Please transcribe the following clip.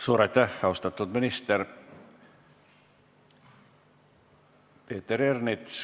Suur aitäh, austatud minister!